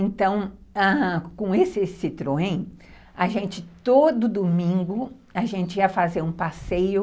Então, ãh, com esse Citroën, a gente, todo domingo, a gente ia fazer um passeio